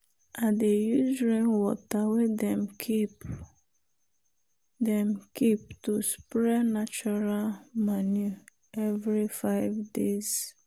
i dey use rainwater wey dem keep dem keep to spray natural manure every five days.